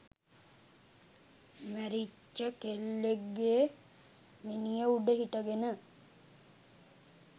මැරිච්ච කෙල්ලෙක්ගේ මිනිය උඩ හිටගෙන